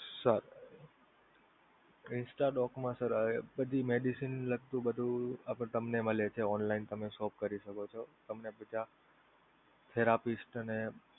સારુ instadoc માં sir બધી medicine ને લગતું બધું તમને મળે છે online તમે shop કરી શકો છો તમે બધા therapist અને